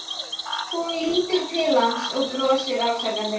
Hún lítur til hans og brosir afsakandi.